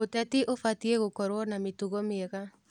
Ũteti ũbatiĩ gũkorwo na mĩtugo mĩega.